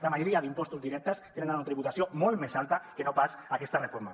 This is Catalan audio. la majoria d’impostos directes tenen una tributació molt més alta que no pas aquesta reforma